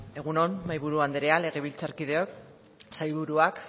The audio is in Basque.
egun on mahaiburu anderea legebiltzarkideok sailburuak